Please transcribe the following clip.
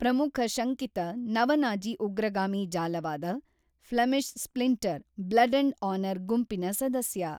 ಪ್ರಮುಖ ಶಂಕಿತ ನವ-ನಾಜಿ ಉಗ್ರಗಾಮಿ ಜಾಲವಾದ Flemish splinter blood and honour ಗುಂಪಿನ ಸದಸ್ಯ.